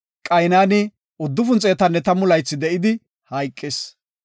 Qaynani 910 laythi de7idi hayqis.